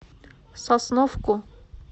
сосновку